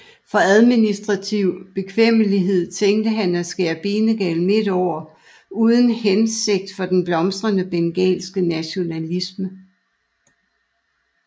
For administrativ bekvemmelighed tænkte han at skære Bengalen midt over uden hænsigt for den blomstrende bengalske nationalisme